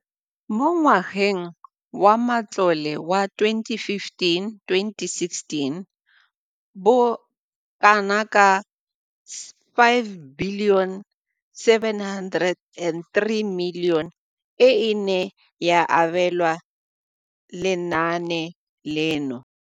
Mo ngwageng wa matlole wa 2015-2016, bokanaka R5 703 bilione e ne ya abelwa lenaane leno.